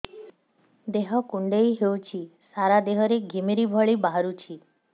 ଦେହ କୁଣ୍ଡେଇ ହେଉଛି ସାରା ଦେହ ରେ ଘିମିରି ଭଳି ବାହାରୁଛି